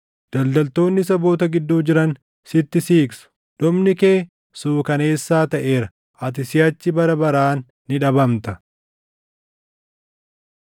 Daldaltoonni saboota gidduu jiran sitti siiqsu; dhumni kee suukaneessaa taʼeera; ati siʼachi bara baraan ni dhabamta.’ ”